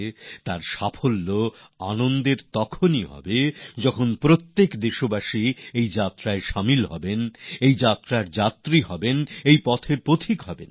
এর সাফল্য তখনই সুখদায়ক হবে যখন প্রত্যেক দেশবাসী তাতে অংশ নেবেন এই যাত্রার যাত্রী হবেন এই পথের পথিক হবেন